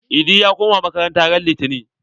Idi ya koma makaranta ran litani.